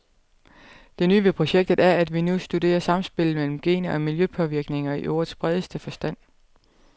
Det nye ved projektet er, at vi nu kan studere samspillet mellem gener og miljøpåvirkninger i ordets bredeste forstand.